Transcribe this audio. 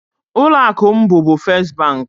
Ụlọ akụ m bubu Fes bank.